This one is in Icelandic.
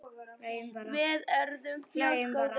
Við urðum fljótt góðir vinir.